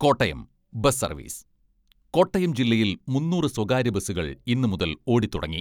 Kottayam, bus service, Kottayam ജില്ലയിൽ മുന്നൂറ് സ്വകാര്യ ബസുകൾ ഇന്നു മുതൽ ഓടിത്തുടങ്ങി.